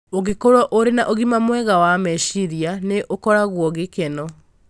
Ũngĩkorũo ũrĩ na ũgima mwega wa meciria, nĩ ũkoragwo gĩkeno.